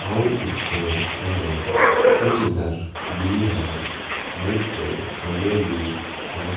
और इससे परे कुछ घर भी है और कुछ पेड़ पौधे भी है।